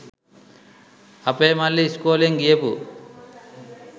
අපේ මල්ලි ඉස්කෝලෙන් ගියපු